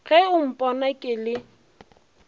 ge o mpona ke le